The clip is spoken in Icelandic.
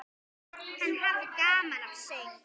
Hann hafði gaman af söng.